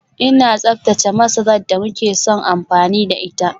Ina tsaftace masarar da muke son amfani da ita